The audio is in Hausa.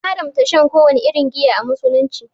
An haramta shan kowace irin giya a Musulunci.